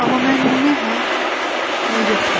Amma mən nə hə, nə yox deyirəm.